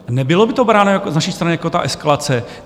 Nebylo by to bráno z naší strany jako ta eskalace?